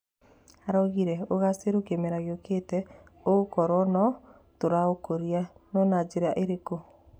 Araugire,"Ũgacĩru kĩmera gĩũkĩte ũgakorwo no tũraũkũria, no na njĩra ĩrĩkũ?